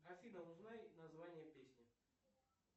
афина узнай название песни